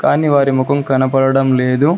కానీ వారి ముఖం కనబడడం లేదు.